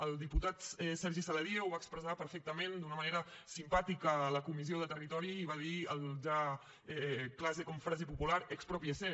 el diputat sergi saladié ho va expressar perfectament d’una manera simpàtica a la comissió de territori i va dir el ja clàssic com a frase popular exprópiese